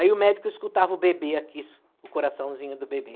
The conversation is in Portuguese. Aí o médico escutava o bebê aqui, o coraçãozinho do bebê.